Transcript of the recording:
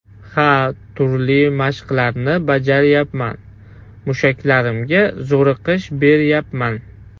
Ha, turli mashqlarni bajaryapman, mushaklarimga zo‘riqish beryapman.